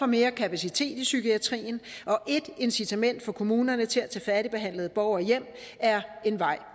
mere kapacitet i psykiatrien og et incitament for kommunerne til at tage færdigbehandlede borgere hjem er én vej